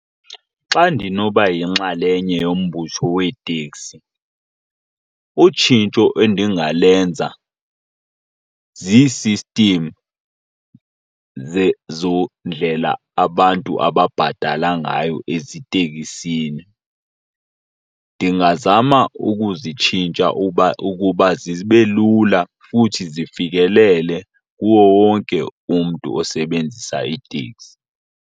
Xa ndinoba yinxalenye yombutho weeteksi utshintsho endingalenza zii-system zendlela abantu ababhatala ngayo eziteksini. Ndingazama ukuzitshintsha uba, ukuba zibe lula futhi zifikelele kuwo wonke umntu osebenzisa iitekisi.